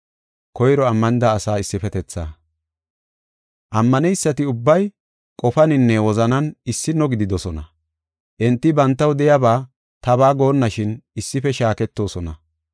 Ammaneysati ubbay qofaninne wozanan issino gididosona. Enti bantaw de7iyaba tabaa goonnashin issife shaaketoosona.